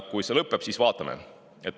Kui see lõpeb, siis vaatame.